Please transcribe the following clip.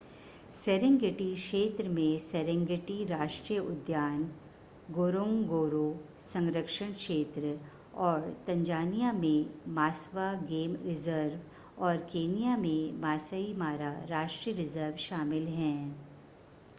Serengeti क्षेत्र में Serengeti राष्ट्रीय उद्यान गोरोंगोरो संरक्षण क्षेत्र और तंजानिया में मास्वा गेम रिज़र्व और केन्या में मासई मारा राष्ट्रीय रिज़र्व शामिल हैं